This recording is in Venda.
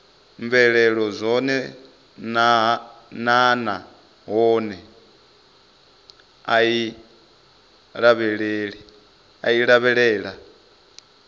mvelelo dzone naanahone i lavhelela